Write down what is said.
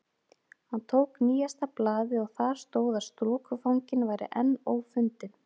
Hann tók nýjasta blaðið og þar stóð að strokufanginn væri enn ófundinn.